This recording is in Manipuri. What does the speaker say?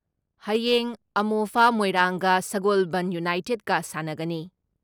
ꯍꯌꯦꯡ ꯑꯃꯣꯐꯥ ꯃꯣꯏꯔꯥꯡꯒ ꯁꯒꯣꯜꯕꯟ ꯌꯨꯅꯥꯏꯇꯦꯠꯀ ꯁꯥꯟꯅꯒꯅꯤ ꯫